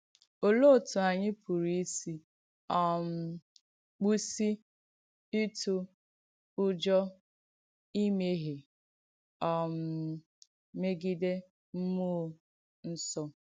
Olèé òtù ànyị̣ pùrù ìsì um kpùsì ìtù ùjọ̀ ìmèhiè um mègidè m̀múọ̀ ǹsọ̀?